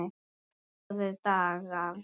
Góðir dagar.